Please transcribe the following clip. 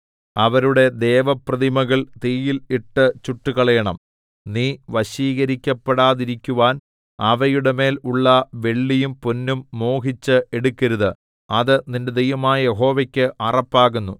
അവരുടെ ദേവപ്രതിമകൾ തീയിൽ ഇട്ട് ചുട്ടുകളയണം നീ വശീകരിക്കപ്പെടാതിരിക്കുവാൻ അവയുടെമേൽ ഉള്ള വെള്ളിയും പൊന്നും മോഹിച്ച് എടുക്കരുത് അത് നിന്റെ ദൈവമായ യഹോവയ്ക്ക് അറപ്പാകുന്നു